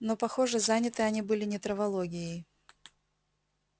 но похоже заняты они были не травологией